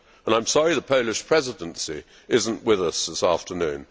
I am sorry the Polish Presidency is not with us this afternoon.